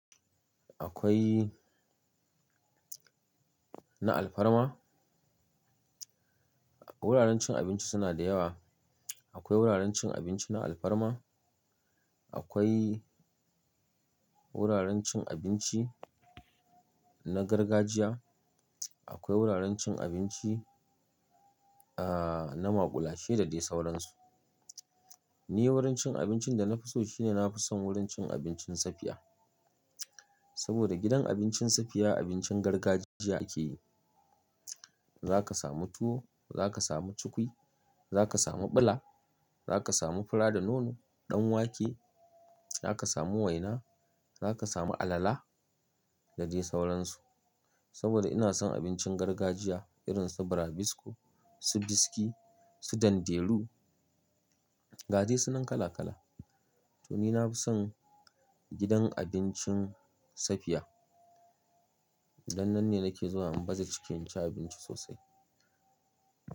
Akwai na alfarma, wuraren cin abinci suna da yawa. Akwai wuraren cin abinci na alfarma, akwai wuraren cin abinci na gargajiya, akwai wuraren cin abinci, ahhh, na maƙulashe da dai sauransu. Ni wurin cin abincin da na fi so shine na fi son wurin cin abincin safiya. Saboda gidan abincin safiya abincin gargajiya ake yi. Zaka samu tuwo, zaka samu cukwi, zaka samu ɓula, zaka samu fura da nono, ɗan wake, zaka samu waina, zaka samu alala da dai sauransu. Saboda ina son abincin gargajiya irin su burabisko, su biski, su danderu ga dai sunan kala-kala. To ni na fi son gidan abincin safiya. Dan nan ne nake zuwa in baza cikin inci abinci sosai.